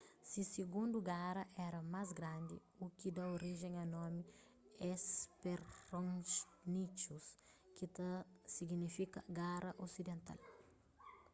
se sigundu gara éra más grandi u ki da orijen a nomi hesperonychus ki ta signifika gara osidental